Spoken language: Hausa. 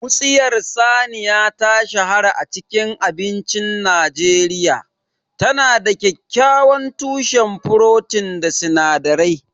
Wutsiyar saniya ta shahara a cikin abincin Najeriya. Tana da kyakkyawan tushen furotin da sinadarai